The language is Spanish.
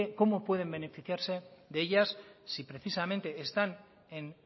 cómo pueden beneficiarse de ellas si precisamente están en